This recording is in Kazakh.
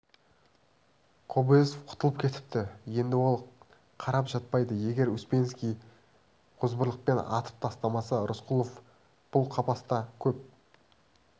кобозев құтылып кетіпті енді ол қарап жатпайды егер успенский озбырлықпен атып тастамаса рысқұлов бұл қапаста көп